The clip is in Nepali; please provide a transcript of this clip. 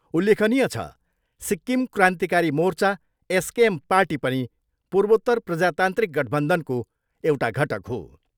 उल्लेखनीय छ, सिक्किम क्रान्तिकारी मोर्चा एसकेएम पार्टी पनि पूर्वोत्तर प्रजातान्त्रिक गठबन्धनको एउटा घटक हो।